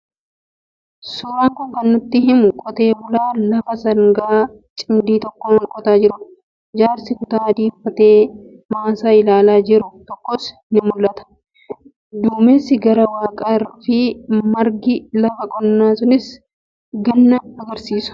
Suuraan kun kan nutti himu qotee bulaa lafa sangaa cimdii tokkoon qotaa jirudha. Jaarsi kutaa adii uffatee maasaa ilaalaa jiru tokkos ni mul'ata. Duumessi garaa waaqaa fi margi lafa qonnaa sunis ganna argisiisu.